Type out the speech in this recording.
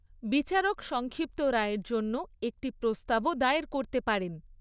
বিচারক সংক্ষিপ্ত রায়ের জন্য একটি প্রস্তাবও দায়ের করতে পারেন।